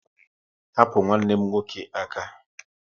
Hapu nwanne m nwoke aka!